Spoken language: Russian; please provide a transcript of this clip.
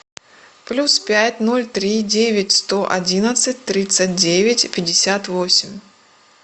плюс пять ноль три девять сто одиннадцать тридцать девять пятьдесят восемь